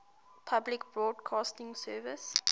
public broadcasting service